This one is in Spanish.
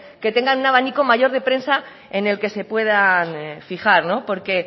que tengan un abanico mayor de prensa en el que se puedan fijar porque